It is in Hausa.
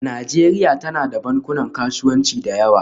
Najeriya tana da bankunan kasuwanci da yawa